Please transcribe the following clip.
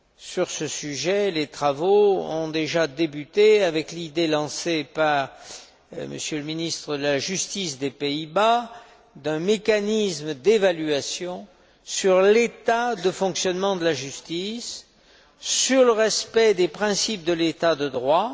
Sur ce sujet, les travaux ont déjà débuté avec l'idée, lancée par le ministre de la justice des Pays Bas, de créer un mécanisme d'évaluation sur l'état de fonctionnement de la justice, sur le respect des principes de l'état de droit,